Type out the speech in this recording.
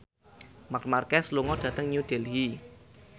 Marc Marquez lunga dhateng New Delhi